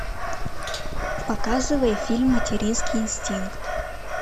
показывай фильм материнский инстинкт